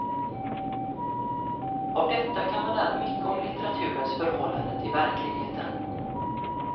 Av detta kan man lära mycket om litteraturens förhållande till verkligheten.